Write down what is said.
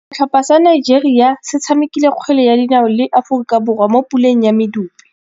Setlhopha sa Nigeria se tshamekile kgwele ya dinaô le Aforika Borwa mo puleng ya medupe.